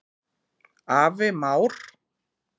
Afi Már.